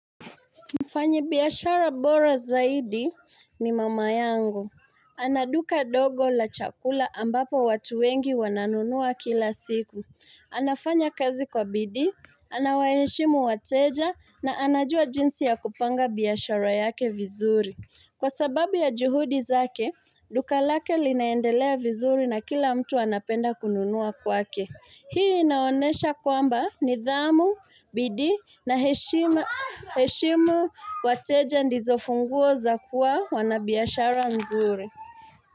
Mfanyibiashara bora zaidi ni mama yangu. Ana duka dogo la chakula ambapo watu wengi wananunua kila siku. Anafanya kazi kwa bidi, anawaheshimu wateja na anajua jinsi ya kupanga biashara yake vizuri. Kwa sababu ya juhudi zake, duka lake linaendelea vizuri na kila mtu anapenda kununua kwake. Hii naonesha kwamba nidhamu, bidi na heshimu wateja ndizo funguo za kuwa wanabiashara nzuri.